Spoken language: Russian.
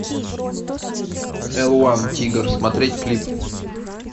эл уан тигр смотреть клип